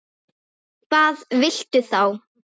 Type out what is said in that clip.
Hvað viltu þá?